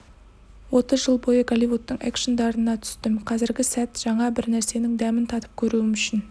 отыз жыл бойы голливудтың экшндарына түстім қазіргі сәт жаңа бір нәрсенің дәмін татып көруім үшін